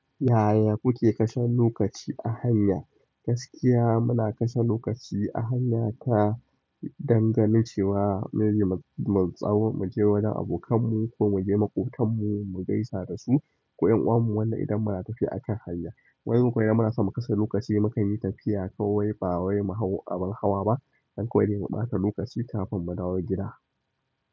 Yaya kuke kashe lokaci a hanya? Gaskiya muna kashe lokaci a hanya ta don ganin cewa maybe, mu, mu, tsa mu je wajen abokanmu ko muje maƙotanmu mu gaisa dasu ko ƴan'uwan mu wanda idan muna tafiya akan hanya. Wani bin kuma in muna son mu kashe lokaci, mu kan yi tafiya kawai ba wai mu hau abin hawa ba. Don kawai dai mu ɓata lokaci kafin mu dawo gida.